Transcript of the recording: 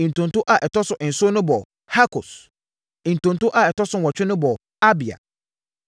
Ntonto a ɛtɔ so nson no bɔɔ Hakos. Ntonto a ɛtɔ so nwɔtwe no bɔɔ Abia.